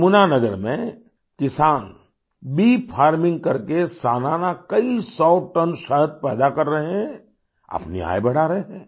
यमुना नगर में किसानबी फार्मिंग करके सालाना कई सौटन शहद पैदा कर रहे हैं अपनी आय बढ़ा रहे हैं